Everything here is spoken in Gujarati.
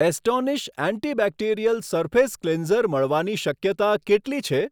એસ્ટોનિશ એન્ટીબેક્ટેરીઅલ સરફેસ કલીન્સર મળવાની શક્યતા કેટલી છે?